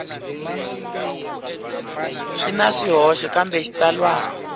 swi na swihoxo kambe xitsalwana